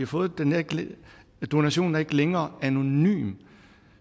fået pengene donationen er ikke længere anonym